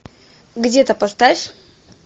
где то поставь